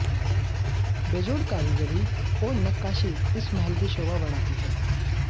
बेजोड़ कारीगरी और नक्काशी इस महल की शोभा बढ़ाती है